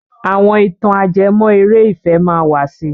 Àwọn ìtàn ajẹmọ́ eré ìfẹ́ máa wà si.